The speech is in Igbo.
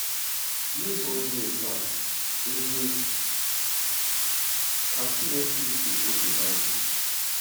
N'ụzọ dị otú a, ị dị ka Timoti nke oge Bible.